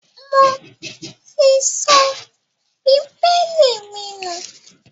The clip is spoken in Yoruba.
Mo ti sọ bíbélì mi nù